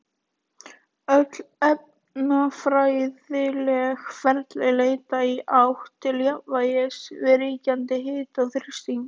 Öll efnafræðileg ferli leita í átt til jafnvægis við ríkjandi hita og þrýsting.